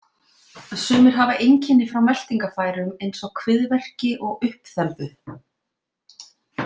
Sumir hafa einkenni frá meltingarfærum eins og kviðverki og uppþembu.